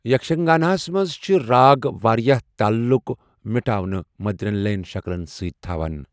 یکشگاناہَس منٛز چھِ راگ واریٛاہ تعلُق مٹّو ناوٕ مدرین لیَن شکلَن سۭتۍ تھاوان۔